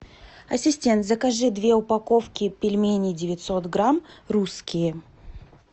ассистент закажи две упаковки пельменей девятьсот грамм русские